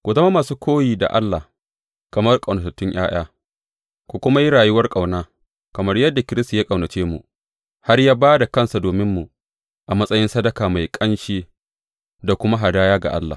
Ku zama masu koyi da Allah, kamar ƙaunatattun ’ya’ya, ku kuma yi rayuwar ƙauna, kamar yadda Kiristi ya ƙaunace mu, har ya ba da kansa dominmu a matsayin sadaka mai ƙanshi da kuma hadaya ga Allah.